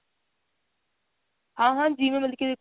ਹਾਂ ਹਾਂ ਜਿਵੇਂ ਕੀ ਮਤਲਬ ਕੀ ਦੇਖੋ